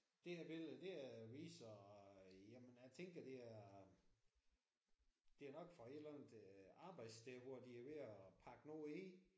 Det er billede det er viser jamen jeg tænker det er det er nok fra et eller andet arbejdssted hvor de er ved at pakke noget ind